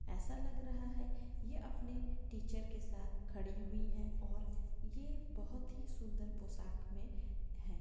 ऐसा लग रहा है ये अपने टीचर के साथ खड़ी हुई है और ये बहुत ही सुंदर पोशाक में है।